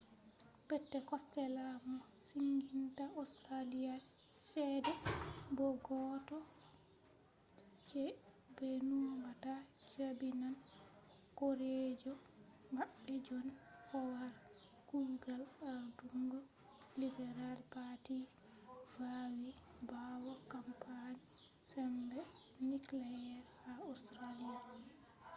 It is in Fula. peter costella mo siginta australia chede bo goddo je be numata jabinan horejo mabbe john howard kugal ardungo liberal party vawi bawo kampani sembe nuclear ha australia